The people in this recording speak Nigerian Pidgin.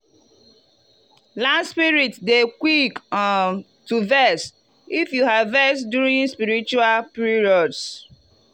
land spirit dey quick um to vex if you harvest during spiritual periods.